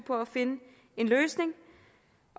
for at finde en løsning